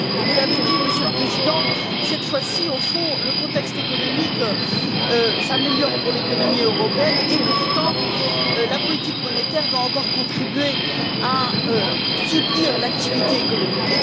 Vous l'avez dit, Monsieur le Président, cette fois ci, au fond, le contexte économique s'améliore pour l'économie européenne, et pourtant la politique monétaire doit encore contribuer à soutenir l'activité économique.